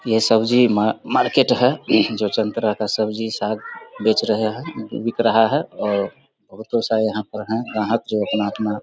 ये सब्जी मा-मार्केट है। जो तरह का सब्जी-साग बेच रहे हैं बिक रहा है और बोहोत लोग सारे यहाँ पर हैं। ग्राहक जो अपना-अपना --